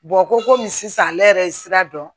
ko komi sisan ale yɛrɛ ye sira dɔn